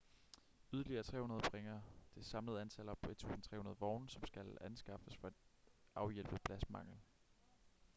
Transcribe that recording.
yderligere 300 bringer det samlede antal op på 1.300 vogne som skal anskaffes for at afhjælpe pladsmangel